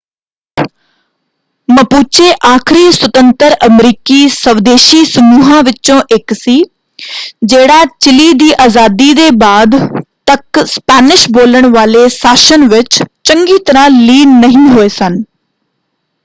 Mapuche ਆਖਰੀ ਸੁਤੰਤਰ ਅਮਰੀਕੀ ਸਵਦੇਸ਼ੀ ਸਮੂਹਾਂ ਵਿੱਚੋਂ ਇੱਕ ਸੀ ਜਿਹੜਾ ਚਿਲੀ ਦੀ ਆਜ਼ਾਦੀ ਦੇ ਬਾਅਦ ਤੱਕ ਸਪੈਨਿਸ਼ ਬੋਲਣ ਵਾਲੇ ਸ਼ਾਸਨ ਵਿੱਚ ਚੰਗੀ ਤਰ੍ਹਾਂ ਲੀਨ ਨਹੀਂ ਹੋਏ ਸਨ।